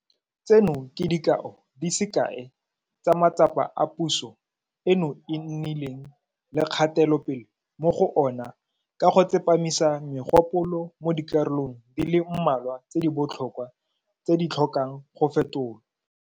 Tseno ke dikao di se kae tsa matsapa a puso eno e nnileng le kgatelopele mo go ona ka go tsepamisa megopolo mo dikarolong di le mmalwa tse di botlhokwa tse di tlhokang go fetolwa.